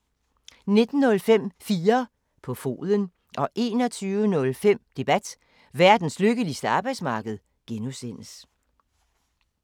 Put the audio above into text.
19:05: 4 på foden 21:05: Debat: Verdens lykkeligste arbejdsmarked (G)